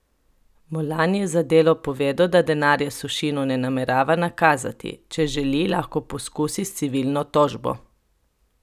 Molan je za Delo povedal, da denarja Sušinu ne namerava nakazati: "Če želi, lahko poskusi s civilno tožbo.